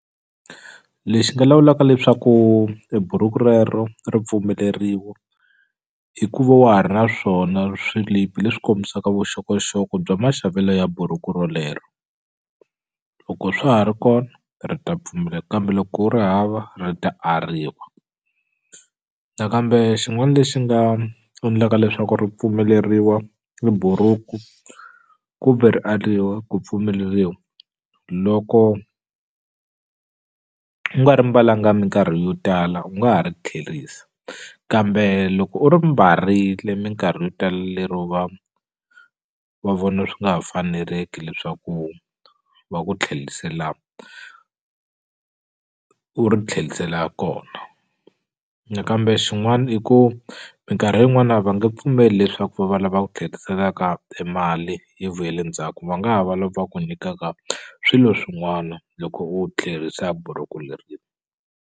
Lexi nga lawulaka leswaku e buruku rero ri pfumeleriwa hikuva wa ha ri na swona swilipi leswi kombisaka vuxokoxoko bya maxavelo ya burhuku rolero loko swa ha ri kona ri ta pfumela kambe loko u ri hava ri ta ariwa nakambe xin'wani lexi nga endlaka leswaku ri pfumeleriwa ri buruku kumbe ri ariwa ku pfumeleriwa loko u nga ri mbalanga minkarhi yo tala u nga ha ri tlherisa kambe loko u ri mbarile minkarhi yo tala lero va vona swi nga ha faneleki leswaku va ku tlhelisela u ri tlhelisela kona na kambe xin'wani i ku minkarhi yin'wana va nge pfumeli leswaku va va lava ku tlheriselaka timali yi vuyele ndzhaku va nga ha va lava ku nyikaka swilo swin'wana loko u tlherisa buruku .